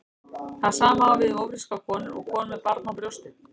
Það sama á við um ófrískar konur og konur með barn á brjósti.